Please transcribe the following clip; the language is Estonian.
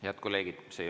Head kolleegid!